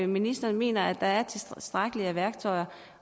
ministeren mener at der er tilstrækkeligt med værktøjer